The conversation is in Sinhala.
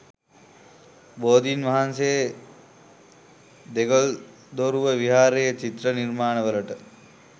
බෝධින් වහන්සේ දෙගල්දොරුව විහාරයේ චිත්‍ර නිර්මාණවලට